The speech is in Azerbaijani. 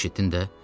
Eşitdin də?